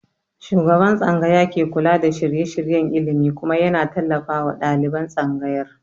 Shugaban tsangaya ke kula da shirye-shiryen ilimi kuma ya na tallafawa ɗaliban tsangayar